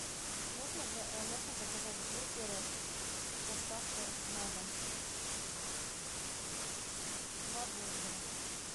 можно заказать бургеры с доставкой на дом два бургера